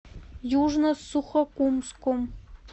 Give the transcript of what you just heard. южно сухокумском